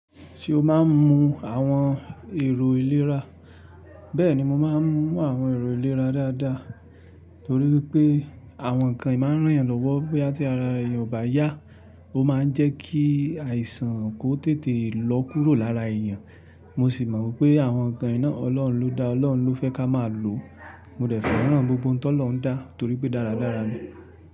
Ṣé o máa ń mu àwọn èrò ìlera? Bẹ́ẹ̀ni, mo máa ń mú àwọn èrò ìlera dáadáa torí pé àwọn ǹkan yìí máa ń ràn yàn lọ́wọ́ bóyá tí ara èèyàn ò bá yá. Ó máa ń jẹ́ kí àìsàn kó tètè lọ́ kúrò lára èèyàn. Mo sì mọ̀ wipé àwọn ǹkan i ná Ọlọ́run ló dá, Ọlọ́run ló fẹ́ ká máa lò. Mo dẹ̀ fẹ́ rán gbogbo oun ti Olorun dá torí pé dáradára ni.